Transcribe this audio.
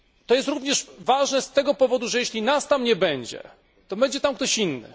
Jest to również ważne z tego powodu, że jeśli nas tam nie będzie, to będzie tam ktoś inny.